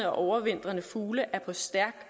overvintrende fugle er på stærk